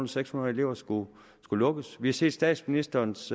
seks hundrede elever skulle lukkes vi har set statsministerens